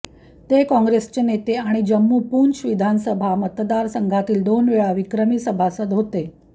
ते कॉंग्रेसचे नेते आणि जम्मू पुंछ विधानसभा मतदार संघातील दोन वेळा विक्रमी सभासद होते